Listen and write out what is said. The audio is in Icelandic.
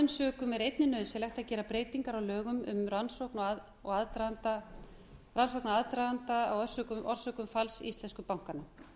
sökum er einnig nauðsynlegt að gera breytingar á lögum um rannsókn aðdraganda og orsökum falls íslensku bankanna